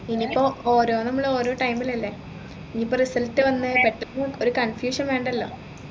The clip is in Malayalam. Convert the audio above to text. ഇനി ഇപ്പൊ ഒരോ നമ്മൾ ഓരോ time ൽ അല്ലെ ഇനി ഇപ്പൊ result വന്നു പെട്ടെന്നു ഒരു confusion വേണ്ടല്ലോ